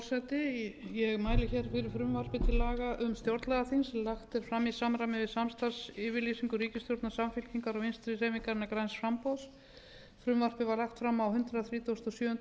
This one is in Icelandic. um stjórnlagaþing sem lagt er fram í samræmi við samstarfsyfirlýsingu ríkisstjórnar samfylkingarinnar og vinstri hreyfingarinnar græns framboðs frumvarpið var lagt fram á hundrað þrítugasta og sjöunda